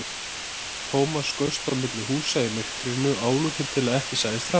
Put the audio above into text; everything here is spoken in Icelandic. Thomas skaust á milli húsa í myrkrinu, álútur til að ekki sæist framan í hann.